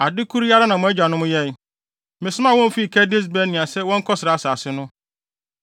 Ade koro yi ara na mo agyanom yɛe. Mesomaa wɔn fii Kades-Barnea sɛ wɔnkɔsra asase no.